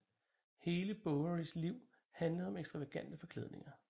Hele Bowerys liv handlede om ekstravagante forklædninger